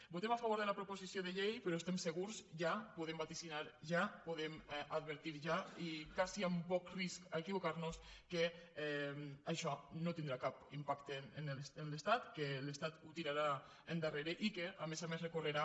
votem a favor de la proposició de llei però estem se·gurs ja ho podem vaticinar ja ho podem advertir ja i quasi amb poc risc d’equivocar·nos que això no tin·drà cap impacte en l’estat que l’estat ho tirarà endar·rere i que a més a més recorrerà